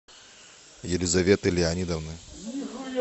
елизоветы леонидовны